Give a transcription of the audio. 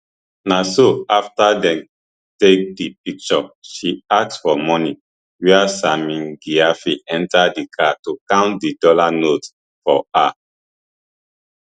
na so afta dem take di picture she ask for money wia sammy gyamfi enta di car to count di dollar notes for her